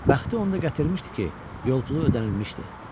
Bəxti onda gətirmişdi ki, yol pulu ödənilmişdi.